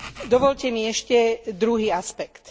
Dovoľte mi ešte druhý aspekt.